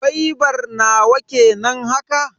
Gwaibar nawa kenan haka?